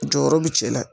Jɔyɔrɔ bi cɛ la